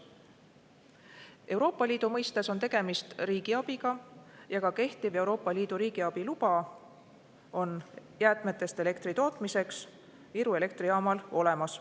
Euroopa Liidu mõistes on tegemist riigiabiga ja ka kehtiv Euroopa Liidu riigiabi luba jäätmetest elektri tootmiseks on Iru elektrijaamal olemas.